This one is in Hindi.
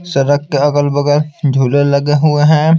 सड़क के अलग-बगल झूले लगे हुए हैं।